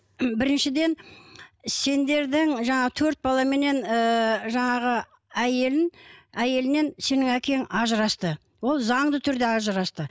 біріншіден сендердің жаңағы төрт баламенен ііі жаңағы әйелін әйелінен сенің әкең ажырасты ол заңды түрде ажырасты